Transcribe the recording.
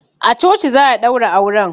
A coci za a ɗaura auren.